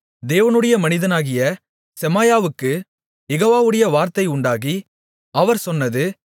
தேவனுடைய மனிதனாகிய செமாயாவுக்குக் யெகோவாவுடைய வார்த்தை உண்டாகி அவர் சொன்னது